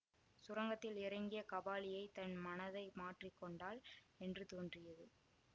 சுரங்கத்தில் இறங்கிய காபாலியை தன் மனதை மாற்றி கொண்டாள் என்று தோன்றியது